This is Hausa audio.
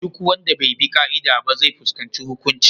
Duk wanda bai bi ƙa’ida ba zai fuskanci hukunci.